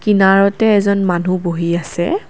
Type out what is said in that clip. কিনাৰতে এজন মানুহ বহি আছে।